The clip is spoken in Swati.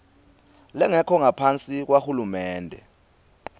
lengekho ngaphasi kwahulumende